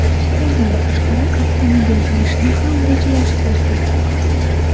Bundan tashqari, avtomobil berishni ham rejalashtirdik.